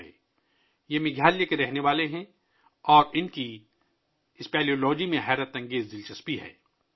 وہ میگھالیہ کے رہنے والے ہیں اور اسپیالوجی میں بہت دلچسپی رکھتے ہے